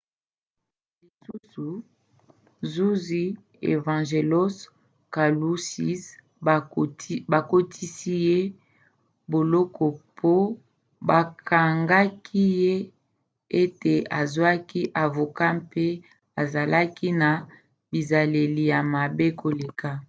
lisusu zuzi evangelos kalousis bakotisi ye boloko po bakangaki ye ete azwaki avoka mpe azalaki na bizaleli ya mabe koleka